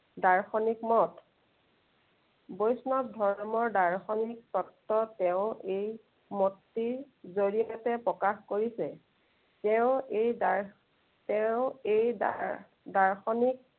দাৰ্শনিক মত। বৈষ্ণৱ ধৰ্মৰ দাৰ্শনিক তত্ব তেওঁ এই মতটিৰ জড়িয়তে প্ৰকাশ কৰিছে। তেওঁ এই দাৰ, তেওঁ এই দাৰ~দাৰ্শনিক